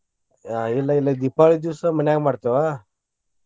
ಆಹ್ ಇಲ್ಲಾ ಇಲ್ಲೆ ದೀಪಾವಳಿ ದಿವ್ಸ ಮನ್ಯಾಗ ಮಾಡ್ತೇವ.